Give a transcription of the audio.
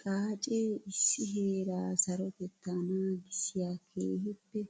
Xaace issi heera sarotetta naagissiya keehippe